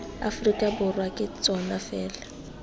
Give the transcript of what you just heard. aforika borwa ke tsona fela